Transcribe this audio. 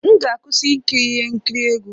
M ga-akwụsị ikiri ihe nkiri egwu.